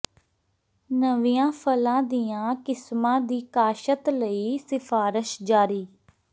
ਨਵੀਆਂ ਫ਼ਲਾਂ ਦੀਆਂ ਕਿਸਮਾਂ ਦੀ ਕਾਸ਼ਤ ਲਈ ਸਿਫ਼ਾਰਸ਼ ਜਾਰੀ